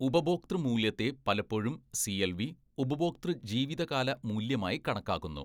ഉപഭോക്തൃ മൂല്യത്തെ പലപ്പോഴും സിഎൽവി, ഉപഭോക്തൃ ജീവിതകാല മൂല്യമായി കണക്കാക്കുന്നു.